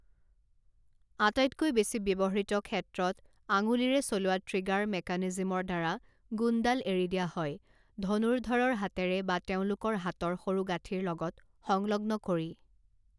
আটাইতকৈ বেছি ব্যৱহৃত ক্ষেত্ৰত আঙুলিৰে চলোৱা ট্ৰিগাৰ মেকানিজমৰ দ্বাৰা গুণডাল এৰি দিয়া হয়, ধনুৰ্দ্ধৰৰ হাতেৰে বা তেওঁলোকৰ হাতৰ সৰুগাঁঠিৰ লগত সংলগ্ন কৰি।